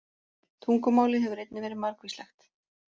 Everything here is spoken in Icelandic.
Tungumálið hefur einnig verið margvíslegt.